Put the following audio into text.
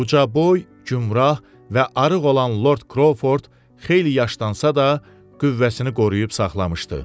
Ucaboy, gümrah və arıq olan Lord Krovford xeyli yaşlansa da, qüvvəsini qoruyub saxlamışdı.